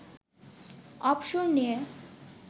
অবসর নিয়ে